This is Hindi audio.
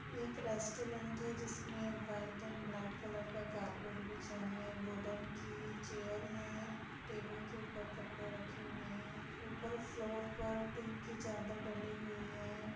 एक रेस्टोरेंट जिसमे व्हाइट एण्ड ब्लैक कलर का कार्पेट बिछा है वुडन की चेयर है टेबल के ऊपर कपड़े रखे हुए हैं ऊपर फ्लोर पर टीन की चादर डली हुई है।